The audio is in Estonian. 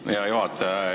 Aitäh, hea juhataja!